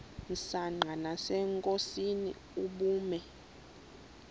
msanqa nasenkosini ubume